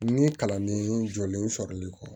Ni kalanden jɔlen sɔrɔli kɔ